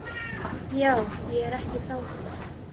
Já, ég er ekki frá því.